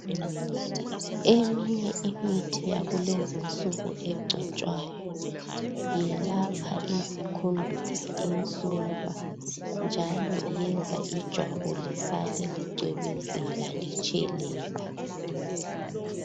Eminye imithi yakulezi nsuku egcotshwayo iyelapha izikhundula, insumpa njalo iyenza ijwabu lisale licwebezela litshelela.